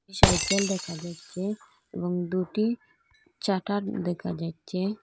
Cycle দেখা যাচ্চে এবং দুটি চাটার দেখা যাইচ্চে।